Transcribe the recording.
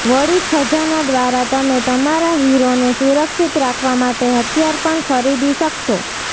વળી ખજાના દ્વારા તમે તમારા હીરોને સુરક્ષિત રાખવા માટે હથિયાર પણ ખરીદી શકશો